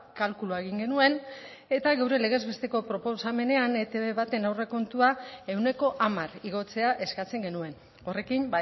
kalkulua egin genuen eta gure legez besteko proposamenean etb baten aurrekontua ehuneko hamar igotzea eskatzen genuen horrekin